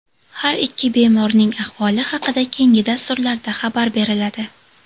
Har ikki bemorning ahvoli haqida keyingi dasturlarda xabar beriladi.